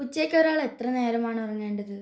ഉച്ചക്ക് ഒരാൾ എത്ര നേരമാണ് ഉറങ്ങേണ്ടത്